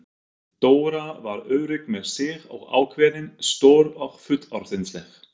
Dóra var örugg með sig og ákveðin, stór og fullorðinsleg.